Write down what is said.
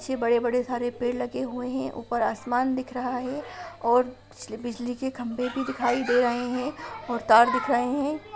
ये बड़े-बड़े हरे पेड़ लगे हुए हैं ऊपर आसमान दिख रहा हैं और बिजली के खंभे भी दिखाई दे रहे है और तार दिख रहे है।